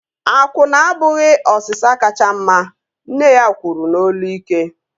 Akwụna abụghị osịsa kacha mma! Nne ya kwuru n'olu ike